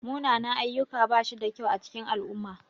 Munanan-ayyuka bashi da kyau a cikin al'umma.